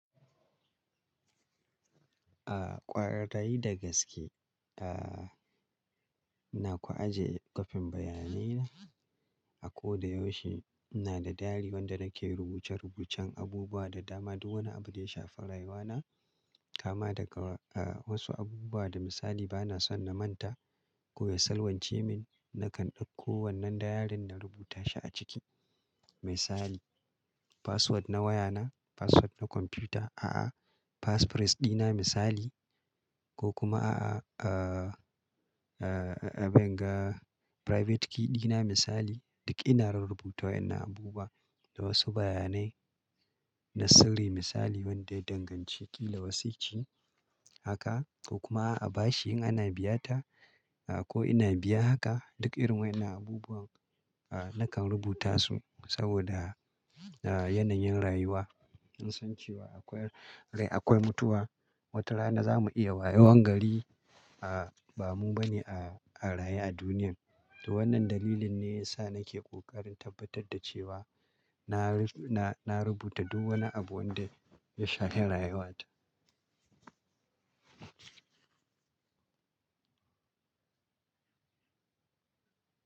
A ƙwarai da gaske, a ina kwa aje ƙafin bayanai na. A ko da yaushe ina da dairy wanda nake rubuce-rubucen abubuwa da dama, duk wani abu da ya shafi rayuwa na. Kama daga a wasu abubuwa da misali bana son na manta, ko ya salwance min nakan ɗauko wannan dairin na rubuta shi a ciki. Misali, password na waya na, password na kwamfuta, a'a, passphrase ɗina misali ko kuma a'a a'a a abinga private key ɗina misali. Duk ina rarrubuta wannan abubuwa da wasu bayanai na sirri misali wanda ya danganci kila wasici. Haka ko kuma a bashi in ana biyata a ko ina biya haka duk irin wayannan abubuwan a nakan rubuta su saboda a yanayin rayuwa. In san cewa akwai rai akwai mutuwa. Wata rana za mu iya wa yawan gari a ba mu ba ne a a raye a duniya. To wannan dalilin ne ya sa nake kokarin tabbatar da cewa na ru na rubuta duk wani abu wanda ya shafi rayuwa ta.